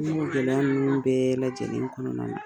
minnu gɛlɛya bɛɛ lajɛlen kɔnɔna na,